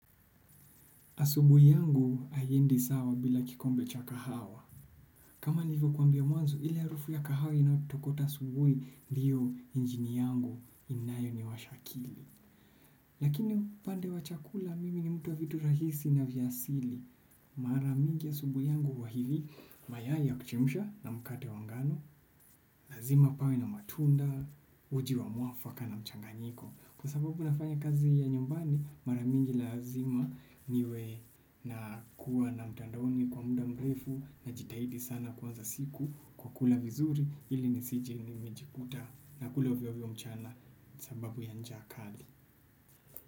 Asubuhi yangu haiendi sawa bila kikombe cha kahawa. Kama nilivyo kwambia mwanzo, ile harufu ya kahawa inatokota asubuhi diyo injini yangu inayo niwasha akili. Lakini upande wa chakula, mimi ni mtu wa vitu rahisi na vya asili. Mara mingi asubuhi yangu huwa hivi, mayai ya kuchemsha na mkate wa ngano, lazima pawe na matunda, uji wa mwafaka na mchanganyiko. Kwa sababu nafanya kazi ya nyumbani mara mingi lazima niwe na kuwa na mtandaoni kwa muda mrefu na jitahidi sana kuanza siku kwa kula vizuri ili ni sije ni mejikuta na kula ovyo ovyo mchana sababu ya njaa kali.